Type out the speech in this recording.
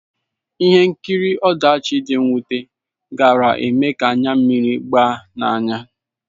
Ihe nkiri ọdachi dị mwute gaara eme ka anya mmiri gbaa n'anya.